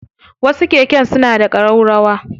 Wasu keken suna da ƙararrawa.